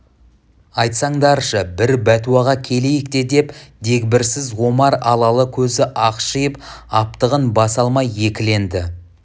айтсаңдаршы бір бәтуаға келейік те деп дегбірсіз омар алалы көзі ақшиып аптығын баса алмай екіленді